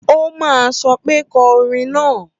Ó máa sọ pé kọ orin náà!